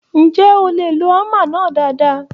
Ǹjẹ́ o lè lo hámà náà dáadáa?